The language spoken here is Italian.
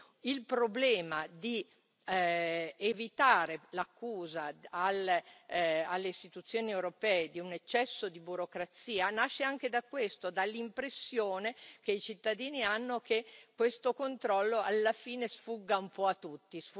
Quindi il problema di evitare l'accusa alle Istituzioni europee di un eccesso di burocrazia nasce anche da questo, dall'impressione che i cittadini hanno che questo controllo alla fine sfugga un po' a tutti.